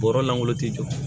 Bɔrɔ langolo ti jɔ